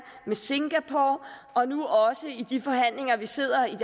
med singapore og nu også i de afsluttende forhandlinger vi sidder i